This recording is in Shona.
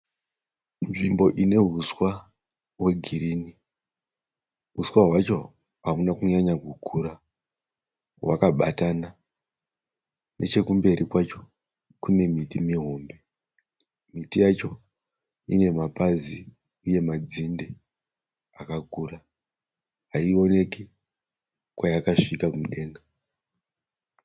Nzvimbo ine huwa hwegreen, hwuswa hwacho hauna kunyanya kukura, hwakabatana, nechekumberi kwacho kune miti mihombe, miti yacho ine mapazi uye madzinde akakura haioneki kwayakasvika kudenga.